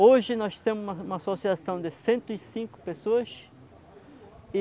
Hoje nós temos uma associação de cento cinco pessoas.